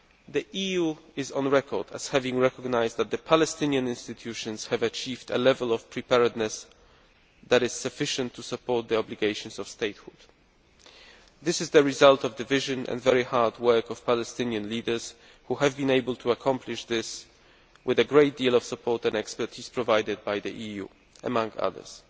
The EU is on record as having recognised that the Palestinian institutions have achieved a level of preparedness that is sufficient to support the obligations of statehood. This is the result of the vision and very hard work of Palestinian leaders, who have been able to accomplish this with a great deal of support and expertise provided by the EU, among others.